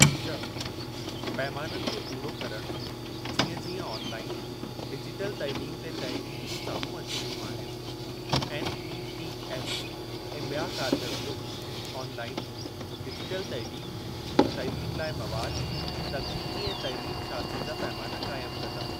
(श ) पैमाननि खे पूरो करणु - जीअं जीअं ऑनलाईन, डिजिटल तइलीम ते तहकीकूं साम्हूं अची रहियूं आहिनि, एनईटीएफ़ ऐं बिया कारगर ग्रूप ऑनलाईन, डिजिटल तइलीम, तइलीम लाइ मवाद, तकनीकी ऐं तइलीम शास्त्र जा पैमाना क़ाइमु कंदा।